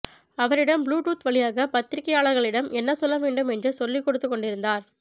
அவரிடம் Bluetooth வழியாக பத்திரிக்கையாளர்களிடம் என்ன சொல்லவேண்டும் என்று சொல்லிகொடுத்துகொண்டிருந்தார்